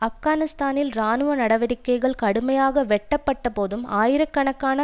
ஆப்கானிஸ்தானில் இராணுவ நடவடிக்கைகள் கடுமையாக வெட்டப்பட்டபோதும் ஆயிர கணக்கான